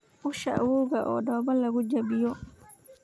Usha awoowga oo dhoobo lagu jabiyo